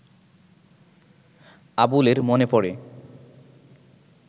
আবুলের মনে পড়ে